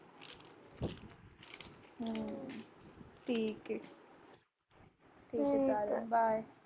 ठीके चालेन bye